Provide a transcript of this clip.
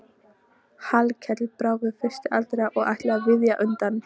Hallkell brá við fyrstur allra og ætlaði að víkja undan.